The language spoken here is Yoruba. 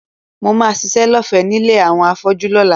Mo máa ṣiṣẹ́ lọ́fẹ̀ẹ́ nílé àwọn afọ́jú lọ́la